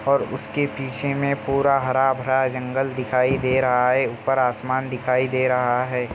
और उसके पीछे में पूरा हरा-भरा जंगल दिखाई दे रहा है ऊपर आसमान दिखाई दे रहा है ।